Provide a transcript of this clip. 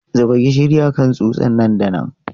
Zuba gishiri a kan tsutsa nan da nan!